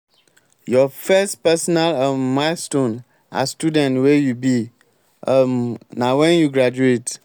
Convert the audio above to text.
your first personal um milestone as student wey you be um na wen you graduate.